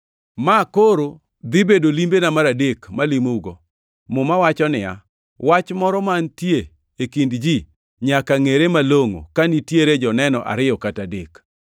Ma koro dhi bedo limbena mar adek malimo-ugo. Muma wacho niya, “Wach moro mantie e kind ji nyaka ngʼere malongʼo ka nitiere joneno ariyo kata adek.” + 13:1 \+xt Rap 19:15\+xt*